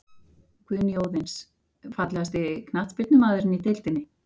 Guðný Óðins Fallegasti knattspyrnumaðurinn í deildinni?